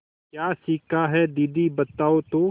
क्या सीखा है दीदी बताओ तो